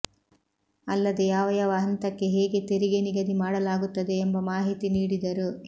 ಅಲ್ಲದೆ ಯಾವ ಯಾವ ಹಂತಕ್ಕೆ ಹೇಗೆ ತೆರಿಗೆ ನಿಗದಿ ಮಾಡಲಾಗುತ್ತದೆ ಎಂಬ ಮಾಹಿತಿ ನೀಡಿದರು